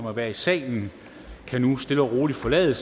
at være i salen kan nu stille og roligt forlade